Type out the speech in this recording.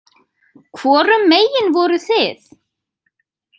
Hvorum megin voruð þið?